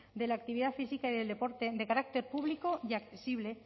de la actividad física y del deporte de carácter público y accesible